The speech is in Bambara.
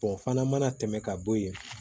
o fana mana tɛmɛ ka bɔ yen